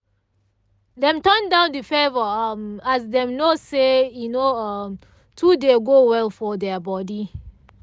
dem turn down the favour um as dem know say e no um too um go well for their body